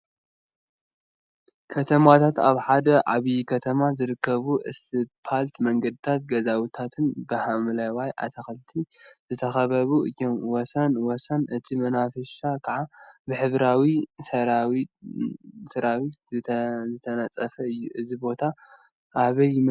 ከተማታትና አብ ሓደ ዓብይ ከተማ ዝርከቡ እስፓልት መንገዲታትን ገዛውቲታትን ብሓምለዋይ አትክልቲ ዝተካበቡ እዮም፡፡ ወሰን ወሰን እቲ መናፈሻ ከዓ ብሕብራዊ ሰራሚክ ዝተነፀፈ እዩ፡፡ እዚ ቦታ አበይ ይመሰለኩም?